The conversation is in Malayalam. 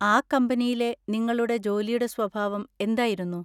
ആ കമ്പനിയിലെ നിങ്ങളുടെ ജോലിയുടെ സ്വഭാവം എന്തായിരുന്നു?